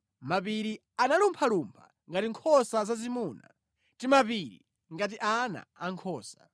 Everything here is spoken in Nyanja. mapiri analumphalumpha ngati nkhosa zazimuna, timapiri ngati ana ankhosa.